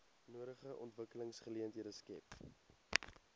nodige ontwikkelingsgeleenthede skep